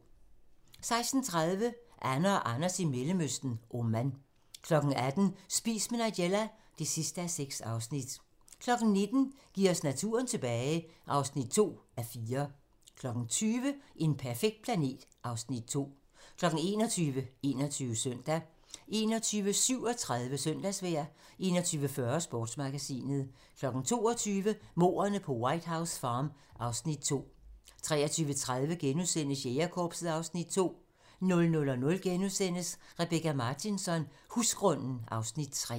16:30: Anne og Anders i Mellemøsten: Oman 18:00: Spis med Nigella (6:6) 19:00: Giv os naturen tilbage (2:4) 20:00: En perfekt planet (Afs. 2) 21:00: 21 Søndag 21:37: Søndagsvejr 21:40: Sportsmagasinet 22:00: Mordene på White House Farm (Afs. 2) 23:30: Jægerkorpset (Afs. 2)* 00:00: Rebecka Martinsson: Husgrunden (Afs. 3)*